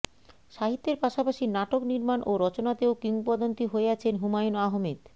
সাহিত্যের পাশাপাশি নাটক নির্মাণ ও রচনাতেও কিংবদন্তী হয়ে আছেন হুমায়ুন আহমেদ